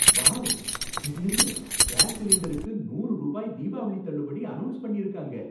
Wow! திடீர்னு gas சிலிண்டருக்கு நூறு ரூபாய் தீபாவளி தள்ளுபடி அனௌன்ஸ் பண்ணிருக்காங்க.